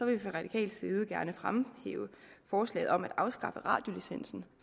vi fra radikal side gerne fremhæve forslaget om at afskaffe radiolicensen